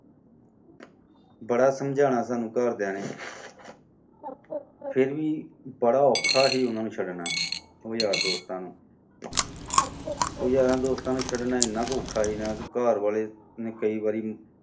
ਬੜਾ ਸਮਝਾਉਣਾ ਸਾਨੂੰ ਘਰ ਦਿਆਂ ਨੇ, ਫਿਰ ਵੀ ਬੜਾ ਔਖਾ ਸੀ ਉਨ੍ਹਾਂ ਨੂੰ ਛਡਣਾ ਉਹ ਯਾਰ ਦੋਸਤਾਂ ਨੂੰ। ਉਹ ਯਾਰਾਂ ਦੋਸਤਾਂ ਨੂੰ ਛਡਣਾ ਏਨਾ ਕੁ ਔਖਾ ਸੀ ਨਾ ਘਰ ਵਾਲੇ ਨੇ ਕਈ ਵਾਰੀ